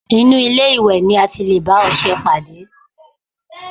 Inú ilé-ìwẹ̀ ni a ti lè bá ọṣẹ pàdé